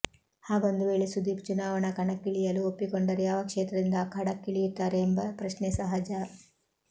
ಹಾಗೊಂದು ವೇಳೆ ಸುದೀಪ್ ಚುನಾವಣಾ ಕಣಕ್ಕಿಳಿಯಲು ಒಪ್ಪಿಕೊಂಡರೆ ಯಾವ ಕ್ಷೇತ್ರದಿಂದ ಅಖಾಡಕ್ಕಿಳಿಯುತ್ತಾರೆ ಎಂಬ ಪ್ರಶ್ನೆ ಸಹಜ